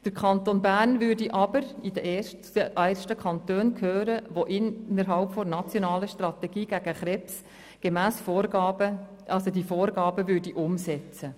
Der Kanton Bern würde aber zu den ersten Kantonen gehören, die innerhalb der nationalen Strategie gegen Krebs die Vorgaben umsetzen.